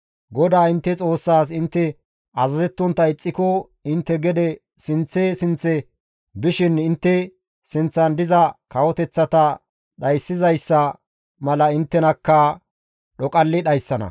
GODAA intte Xoossaas intte azazettontta ixxiko intte gede sinththe sinththe bishin intte sinththan diza kawoteththata dhayssizayssa mala inttenakka dhoqalli dhayssana.